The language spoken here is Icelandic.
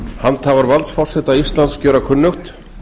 handhafar valds forseta íslands gjöra kunnugt